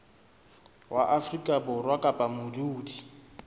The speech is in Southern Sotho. wa afrika borwa kapa modudi